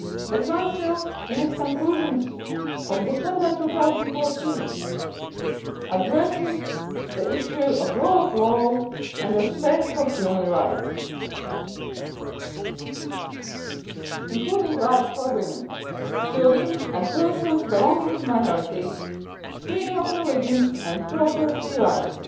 The Council, in its conclusions of December 2014, addressed the issue of the rule of law and respect for human rights including the rights of women, children and persons belonging to minorities freedom of religion and property rights.